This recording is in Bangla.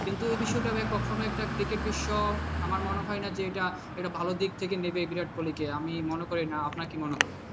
কিন্তু এ বিষয়টা আমি আর কখনো একটা cricket বিশ্ব আমার মনে হয় না যে এটা, এটা ভালো দিক থেকে নেবে বিরাট কোহলি কে আমি মনে করি না। আপনার কি মনে হয়?